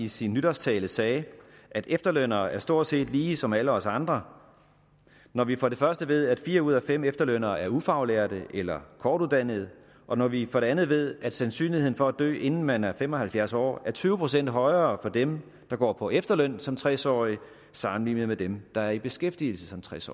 i sin nytårstale sagde at efterlønnere er stort set lige som alle os andre når vi for det første ved at fire ud af fem efterlønnere er ufaglærte eller kortuddannede og når vi for det andet ved at sandsynligheden for at dø inden man er fem og halvfjerds år er tyve procent højere for dem der går på efterløn som tres årige sammenlignet med dem der er i beskæftigelse som tres